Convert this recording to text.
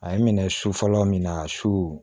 A ye n minɛ su fɔlɔ min na su